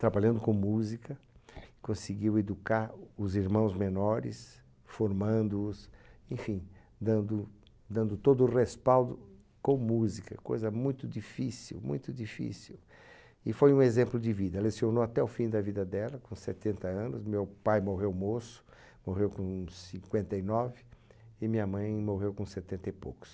trabalhando com música conseguiu educar os irmãos menores formando os enfim dando dando todo o respaldo com música coisa muito difícil muito difícil e foi um exemplo de vida lecionou até o fim da vida dela com setenta anos meu pai morreu moço morreu com cinquenta e nove e minha mãe morreu com setenta e poucos